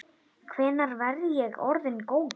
Hvenær verð ég orðinn góður?